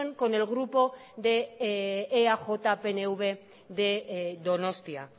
con el grupo de eaj pnv de donostia